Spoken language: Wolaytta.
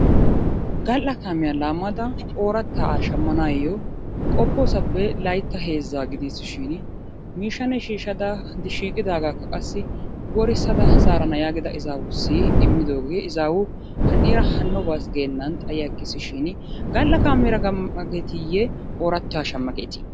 Gal"a kaamiya laammada oorattaa shammanaayyo qoppoosappe Laytta heezzaa gidiisishiini miishshanne shiishshada, shiiqidaagaakka qassi worissada zaarana giida izaawussi immidoogee izaawu hanniira hanno baasi geennan xayiyaggiisishiini gal"a kaameera gam"a geetiiyye oorattaa shamma geetii?